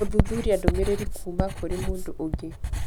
gũthuthuria ndũmĩrĩri kuuma kũrĩ mũndũ ũngĩ